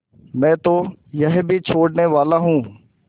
मैं तो यह भी छोड़नेवाला हूँ